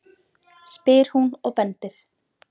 spyr hún og bendir.